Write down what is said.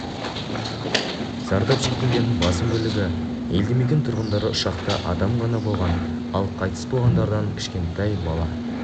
зардап шеккендердің басым бөлігі елдімекен тұрғындары ұшақта адам ғана болған ал қайтыс болғандардың кішкентай бала